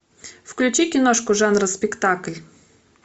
включи киношку жанра спектакль